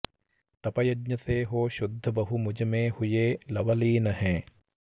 तप यज्ञ से हो शुद्ध बहु मुझमें हुए लवलीन हैं